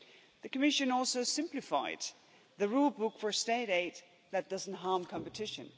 The Commission also simplified the rule book for state aid that doesn't harm competition.